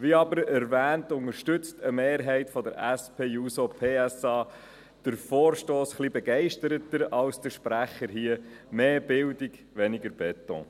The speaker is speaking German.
Wie aber erwähnt, unterstützt eine Mehrheit der SP-JUSO-PSA den Vorstoss etwas begeisterter als der Sprecher hier – mehr Bildung, weniger Beton.